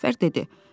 Müzəffər dedi: